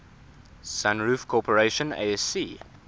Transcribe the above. sunroof corporation asc